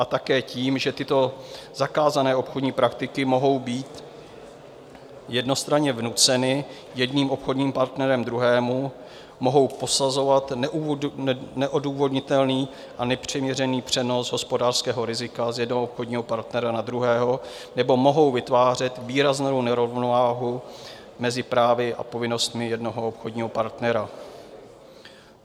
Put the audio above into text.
A také tím, že tyto zakázané obchodní praktiky mohou být jednostranně vnuceny jedním obchodním partnerem druhému, mohou posazovat neodůvodnitelný a nepřiměřený přenos hospodářského rizika z jednoho obchodního partnera na druhého nebo mohou vytvářet výraznou nerovnováhu mezi právy a povinnostmi jednoho obchodního partnera.